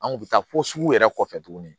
An kun bɛ taa fo sugu yɛrɛ kɔfɛ tuguni